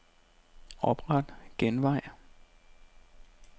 Opret genvej.